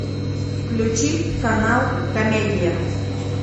включи канал комедия